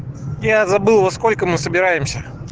я забыл во сколько мы собираемся